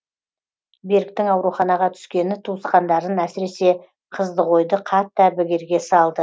беріктің ауруханаға түскені туысқандарын әсіресе қыздығойды қатты әбігерге салды